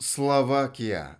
словакия